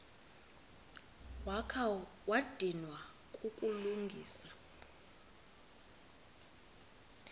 wakha wadinwa kukulungisa